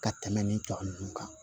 Ka tɛmɛ nin tɔ ninnu kan